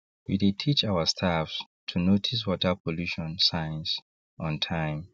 we dey teach our staffs to notice water pollution signs on time